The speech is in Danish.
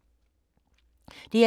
DR2